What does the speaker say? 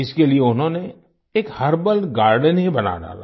इसके लिए उन्होंने एक हर्बल गार्डन ही बना डाला